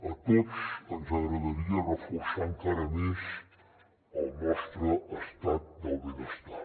a tots ens agradaria reforçar encara més el nostre estat del benestar